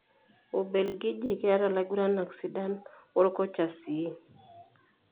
Ubelgiji keta laiguranak sidan wokocha sii.